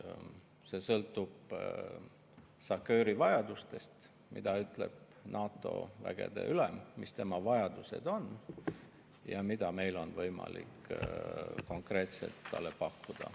See sõltub SACEUR-i vajadustest, sellest, mida ütleb NATO vägede ülem, mis tema vajadused on ja mida meil on võimalik konkreetselt talle pakkuda.